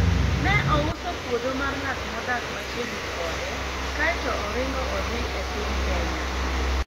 ne ouso puodho mar ng'at modak machiegni kode kaeto oringo odhi e piny kenya